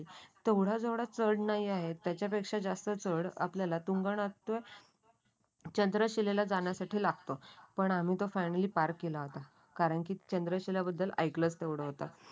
तेवढा जवळा चढणी आहे. त्याच्यापेक्षा जास्त चढ आपल्याला तुंगनातव्या चंद्रशिलेला जाण्यासाठी लागतो. पण आम्ही तर फायनली पार्क केला होता. कारण की चंद्रशिला बद्दल ऐकलंच तेवढं होतं.